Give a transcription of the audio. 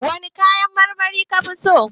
Wane kayan marmari kafi so?